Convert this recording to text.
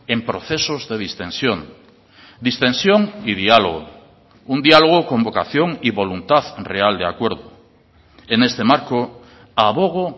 en procesos de distensión distensión y diálogo un diálogo con vocación y voluntad real de acuerdo en este marco abogo